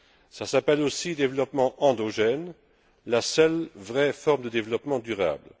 Cela s'appelle aussi le développement endogène, la seule vraie forme de développement durable.